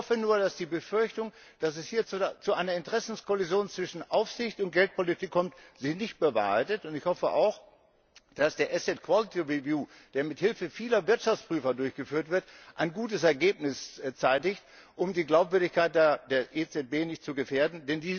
Ich hoffe nur, dass sich die Befürchtung, dass es hier zu einer Interessenkollision zwischen Aufsicht und Geldpolitik kommt, nicht bewahrheitet, und ich hoffe auch, dass der Asset Quality Review der mithilfe vieler Wirtschaftsprüfer durchgeführt wird, ein gutes Ergebnis zeitigt, um die Glaubwürdigkeit der EZB nicht zu gefährden.